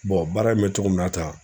baara in bɛ cogo min na tan